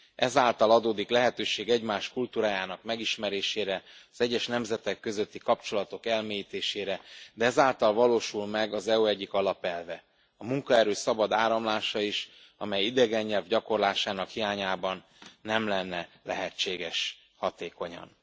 Ezáltal adódik lehetőség egymás kultúrájának megismerésére, az egyes nemzetek közötti kapcsolatok elmélyítésére, de ezáltal valósul meg az EU egyik alapelve a munkaerő szabad áramlása is, amely idegen nyelv gyakorlásának hiányában nem lenne lehetséges hatékonyan.